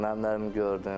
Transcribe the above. Mən nərim gördüm.